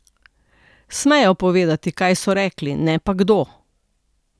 Smejo povedati, kaj so rekli, ne pa kdo.